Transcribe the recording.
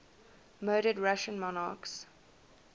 murdered russian monarchs